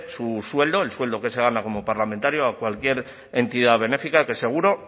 su sueldo el sueldo que se gana como parlamentario a cualquier entidad benéfica que seguro